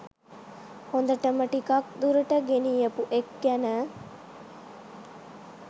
හොඳටම ටිකක් දුරට ගෙනියපු එක් ගැන.